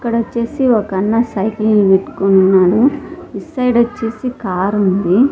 ఇక్కడ వచ్చేసి ఒకన్నా సైకిల్ని పెట్టుకోనున్నాడు ఇటు సైడ్ వచ్చేసి కారుంది .